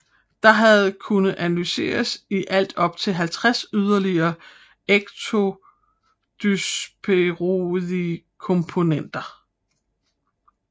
Der har kunnet analyseres i alt op til 50 yderligere ecdysteroidkomponenter